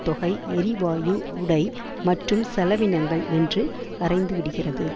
தொகை எரிவாயு உடை மற்ற செலவினங்கள் என்று கரைந்துவிடுகிறது